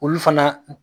Olu fana